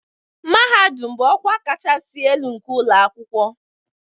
Mahadum bụ ọkwa kachasị elu nke ụlọ akwụkwọ